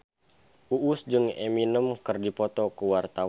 Uus jeung Eminem keur dipoto ku wartawan